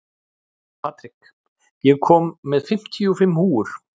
Patrik, ég kom með fimmtíu og fimm húfur!